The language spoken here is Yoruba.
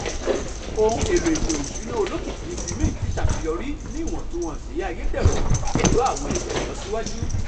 ohun èlò ìsètò-ìsúnà olókìkí ti mint ṣàṣeyọrí ní ìwòntúnwònsì àyẹ̀dẹrò pẹ̀lú àwọn ẹ̀yà ìlọsíwájú